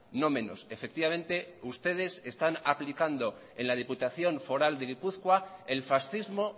no menos efectivamente ustedes están aplicando en la diputación foral de gipuzkoa el fascismo